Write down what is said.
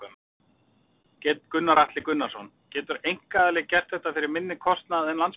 Gunnar Atli Gunnarsson: Getur einkaaðili gert þetta fyrir minni kostnað en Landspítalinn?